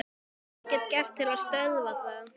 Hvað get ég gert til að stöðva það?